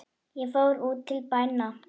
Ég fór út til bæna.